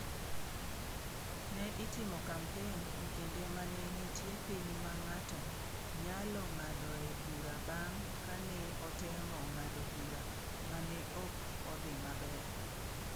Ne itimo kampen e kinde ma ne nitie piny ma ng’ato nyalo ng’adoe bura bang’ ka ne otemo ng’ado bura ma ne ok odhi maber.